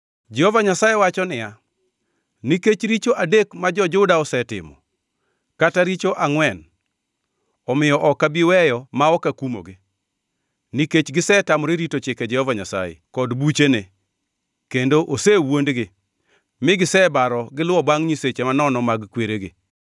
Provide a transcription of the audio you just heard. Jehova Nyasaye wacho niya, “Nikech richo adek ma jo-Juda osetimo, kata richo angʼwen, omiyo ok abi weyo ma ok akumogi. Nikech gisetamore rito chike Jehova Nyasaye kod buchene, kendo osewuondgi mi gisebaro giluwo bangʼ nyiseche manono mag kweregi,